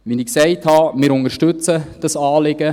Wie ich gesagt habe: Wir unterstützen dieses Anliegen.